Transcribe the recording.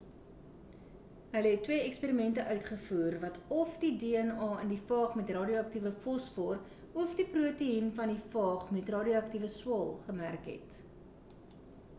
hulle het twee eksperimente uitgevoer wat óf die dna in die faag met ‘n radioaktiewe-fosfor of die proteϊen van die faag met radioaktiewe swael gemerk het